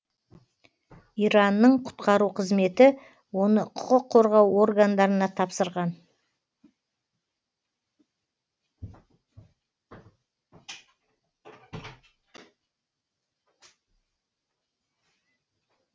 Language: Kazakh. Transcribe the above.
иранның құтқару қызметі оны құқық қорғау органдарына тапсырған